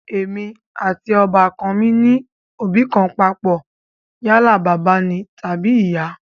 Èmi àti ọbà kan mi ní òbí kan papọ̀ yálà bàbá ni tàbí ìyá